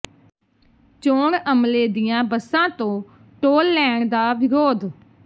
ਚੋਣ ਅਮਲੇ ਦੀਆਂ ਬੱਸਾਂ ਤੋਂ ਟੋਲ ਲੈਣ ਦਾ ਵਿਰੋਧ